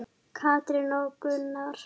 Katrín og Gunnar.